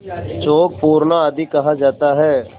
चौक पूरना आदि कहा जाता है